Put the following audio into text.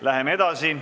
Läheme edasi.